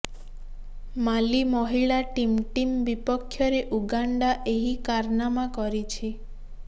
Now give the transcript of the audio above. ମାଲି ମହିଳା team team ବିପକ୍ଷରେ Uganda ଏହି କାରନାମା କରିଛି